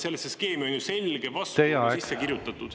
Sellesse skeemi on ju selge vastuolu sisse kirjutatud.